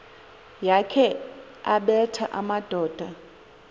yakhe ebetha amadoda